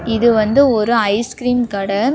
இது வந்து ஒரு ஐஸ் கிரீம் கட.